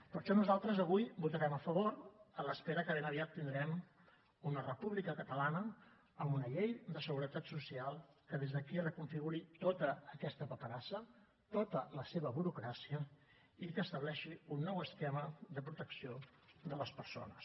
per això nosaltres avui hi votarem a favor a l’espera que ben aviat tindrem una república catalana amb una llei de seguretat social que des d’aquí reconfiguri tota aquesta paperassa tota la seva burocràcia i que estableixi un nou esquema de protecció de les persones